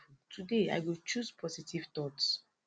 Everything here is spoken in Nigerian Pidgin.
i don learn sey positivity dey powerful today i go choose positive thoughts